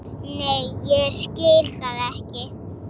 Nei ég skil það ekki.